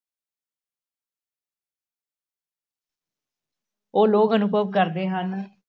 ਉਹ ਲੋਕ ਅਨੁਭਵ ਕਰਦੇ ਹਨ,